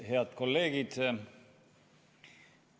Head kolleegid!